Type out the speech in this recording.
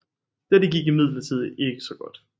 Dette gik imidlertid ikke så godt